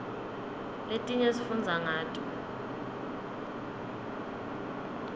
letinye sifundza ngato